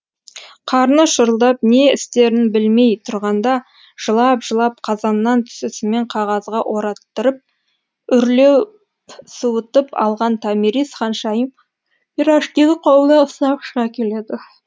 қарны шұрылдап не істерін білмей тұрғанда жылап жылап қазаннан түсісімен қағазға ораттырып үрлеп суытып алған томирис ханшайым пирожкиді қолына ұстап шыға келеді